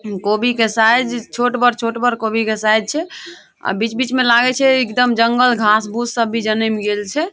कोबी के साइज़ छोट बड़ छोट बड़ छै कोबी के साइज़ छै अ बीच बीच मे लागे छै एकदम जंगल घास भुस सब भी जनेम गेल छै ।